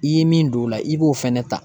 I ye min don o la, i b'o fɛnɛ ta.